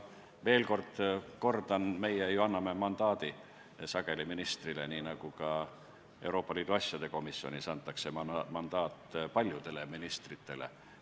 Kordan veel, et meie ju anname mandaadi ministrile, nii nagu ka Euroopa Liidu asjade komisjonis antakse mandaat paljudele ministritele.